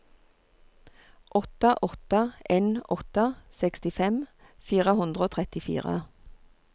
åtte åtte en åtte sekstifem fire hundre og trettifire